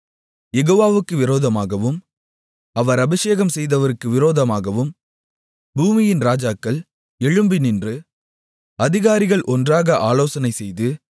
யெகோவாவுக்கு விரோதமாகவும் அவர் அபிஷேகம்செய்தவருக்கு விரோதமாகவும் பூமியின் இராஜாக்கள் எழும்பி நின்று அதிகாரிகள் ஒன்றாக ஆலோசனைசெய்து